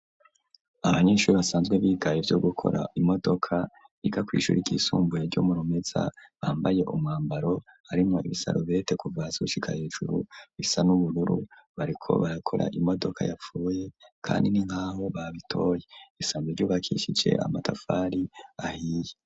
Abanyeshure basanzwe biga ivyo gukora imodoka ika kwishure ryisumbuye ryo murumeza bambaye umwambaro arimo ibisarobete kuvasushika hejuru bisa n'ubururu bariko barakora imodoka yapfuye kandi ni nkahu babitoye isanzwe ryobakishice amatafari ahiye.